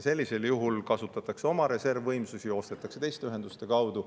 Sellisel juhul kasutatakse oma reservvõimsusi ja ostetakse teiste ühenduste kaudu.